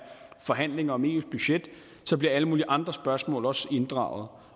forhandlinger om eus budget at alle mulige andre spørgsmål også bliver inddraget